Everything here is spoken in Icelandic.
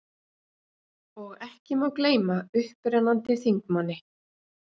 Og ekki má gleyma upprennandi þingmanni